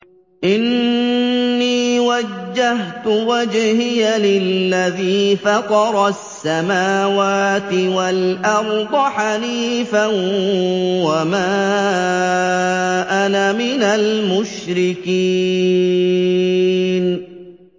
إِنِّي وَجَّهْتُ وَجْهِيَ لِلَّذِي فَطَرَ السَّمَاوَاتِ وَالْأَرْضَ حَنِيفًا ۖ وَمَا أَنَا مِنَ الْمُشْرِكِينَ